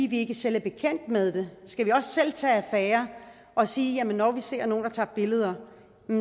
vi ikke selv er bekendt med det skal vi også selv tage affære og sige at når vi ser nogle der tager billeder